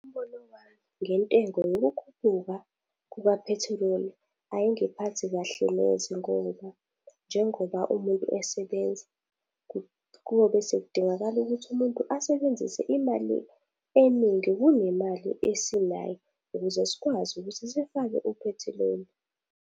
Umbono wami ngentengo yokukhuphuka kukaphethiloli, ayingiphathi kahle neze ngoba, njengoba umuntu esebenza kuyobe sekudingakala ukuthi umuntu asebenzise imali eningi kunemali esinayo, ukuze sikwazi ukuthi sifake uphethiloli.